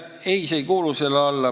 Ei, see ei kuulu selle alla.